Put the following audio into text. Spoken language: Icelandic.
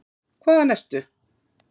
Hvaðan ertu?